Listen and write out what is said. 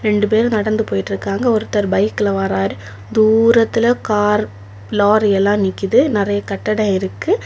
ரெண்டு பேரும் நடந்து போயிட்டு இருக்காங்க ஒருத்தர் பைக்ல வாராரு தூரத்துல கார் லாரி எல்லாம் நிக்குது நெறைய கட்டடம் இருக்கு.